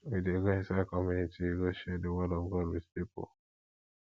we dey go inside community go share di word of god wit pipo